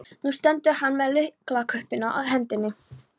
Nú stendur hann með lyklakippuna í hendinni.